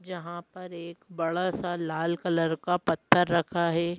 यहां पर एक बड़ा सा लाल कलर का पत्थर रखा है।